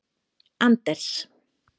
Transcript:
Anders